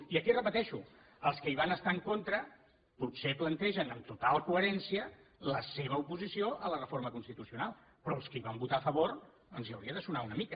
i aquí ho repeteixo els que hi van estar en contra potser plantegen amb total coherència la seva oposició a la reforma constitucional però els que hi van votar a favor els hauria de sonar una mica